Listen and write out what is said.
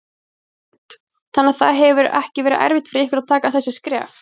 Hrund: Þannig að það hefur ekki verið erfitt fyrir ykkur að taka þessi skref?